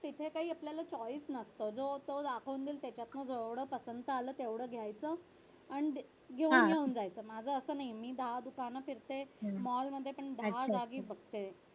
तिथे काही choice नसत जो तो दाखवून देईल त्यांच्यातन जेवढं पसंत आलं तेवढं घ्यायचं आणि येऊन घेऊन जायचं माझं असं नाहि मी दहा दुकान फिरते मॉलमध्ये पण दहा जागी फिरते.